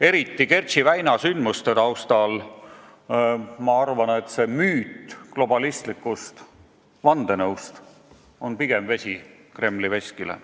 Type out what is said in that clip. Eriti Kertši väina sündmuste taustal arvan, et see globalistliku vandenõu müüt on pigem vesi Kremli veskile.